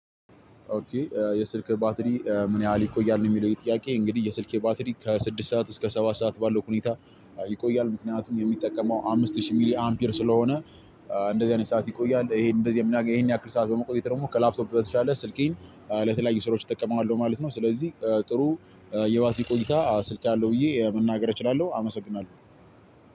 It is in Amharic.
ኦኬ የስልክ ባትሪ ምን ያህል ይቆያል የሚለው ጥያቄ እንግዲህ የስልኬ ባትሪ ከስድስት ሰዓት እስከ ሰባት ሰዓት ባለው ሁኔታ ይቆያል ምክንያቱም የሚጠቀመው አምስት ሺህ ሚሊ አምፒር ስለሆነ። እንደዚህ አይነት ሰዓት ይቆያል ይሄን እንደዚህ ይሄን ያክል ሰዓት በመቆጠጥ ደግሞ ከላፕቶፕ በተሻለ ስልኬን ለተለያዩ ስራዎች እጠቀመዋለሁ ማለት ነው። ስለዚህ ጥሩ የባትሪ ቆይታ ስልክ አለው ብዬ መናገር እችላለሁ። አመሰግናለሁ